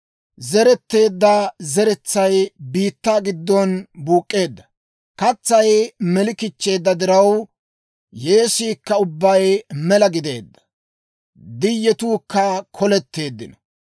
Zereteedda zeretsay biittaa giddon buuk'k'eedda; katsay meli kichcheedda diraw, Yeesiikka ubbay mela gideedda; diyetuukka koletteeddino.